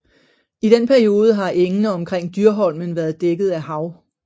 I den periode har engene omkring Dyrholmen været dækket af hav